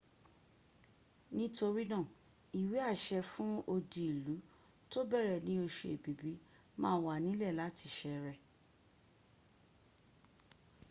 torinaa iwease fun odiilu to bere ni osu ebibi ma w anile lati sere